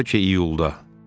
Bəlkə iyulda.